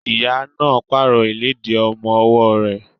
Ìyá náà pààrọ̀ ìlédìí ọmọ ọwọ́ rẹ̀.